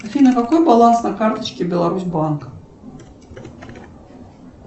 афина какой баланс на карточке беларусбанк